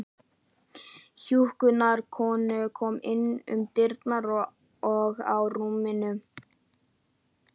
Hjúkrunarkona kom inn um dyrnar og að rúminu.